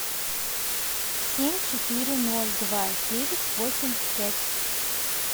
семь четыре ноль два девять восемь пять